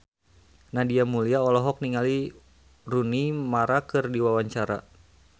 Nadia Mulya olohok ningali Rooney Mara keur diwawancara